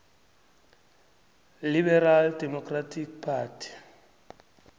liberal democratic party